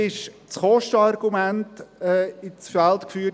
Das Kostenargument wurde ins Feld geführt: